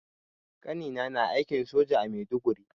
Ƙanina na aikin soja a Maiduguri.